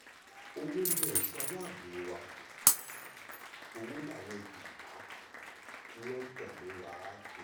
owó ni èso aláàbò wa owó láwọn ìgìrìpá tí wọ́n tẹ̀lé wa kiri